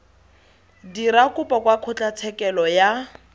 dira kopo kwa kgotlatshekelo ya